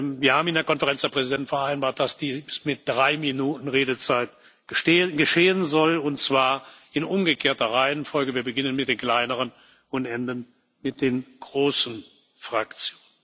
Wir haben in der Konferenz der Präsidenten vereinbart, dass dies mit drei Minuten Redezeit geschehen soll, und zwar in umgekehrter Reihenfolge Wir beginnen mit den kleineren und enden mit den großen Fraktionen.